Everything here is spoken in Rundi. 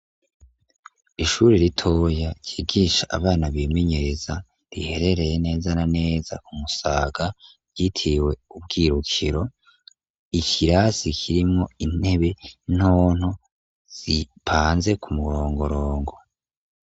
ishuri ritoya kigisha abana bimenyereza riherereye neza na neza kumusaga yitiwe ubwirukiro ikirasi kirimwo intebe nonto zipanze ku murongorongo